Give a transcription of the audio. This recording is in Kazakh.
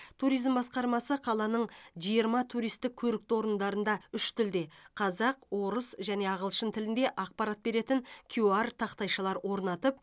туризм басқармасы қаланың жиырма туристік көрікті орындарында үш тілде қазақ орыс және ағылшын тілінде ақпарат беретін кюар тақтайшалар орнатып